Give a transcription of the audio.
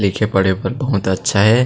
लिखे पढ़े बर बहुत अच्छा हे